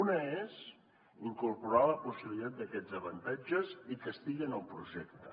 una és incorporar la possibilitat d’aquests avantatges i que estigui en el projecte